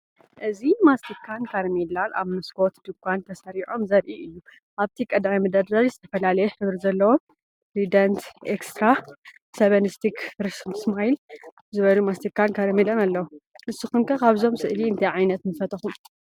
እዚ ማስቲካን ካራሜላን ኣብ መስኮት ድኳን ተሰሪዖም ዘርኢ እዩ። ኣብቲ ቀዳማይ መደርደሪ ዝተፈላለየ ሕብሪ ዘለዎም “ትራይደንት”፣ “ኤክስትራ”፣ “7 ስቲክ”፣ “ፍረሽ ስማይል” ዝበሃሉ ማስቲካን ካራሜላን ኣለዉ። ንስኩም ከ ካብዞም ስእሊ እንታይ ዓይነት ምፈተኩም?